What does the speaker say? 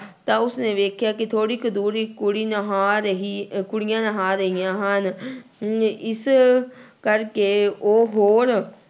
ਤਾਂ ਉਸਨੇ ਵੇਖਿਆ ਕਿ ਥੋੜ੍ਹੀ ਕੁ ਦੂਰ ਇੱਕ ਕੁੜੀ ਨਹਾ ਰਹੀ ਕੁੜੀਆਂ ਨਹਾ ਰਹੀਆਂ ਹਨ ਨ ਇਸ ਕਰਕੇ ਉਹ ਹੋਰ